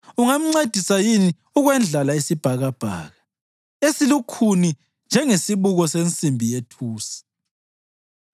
ungamncedisa yini ukwendlala isibhakabhaka, esilukhuni njengesibuko sensimbi yethusi?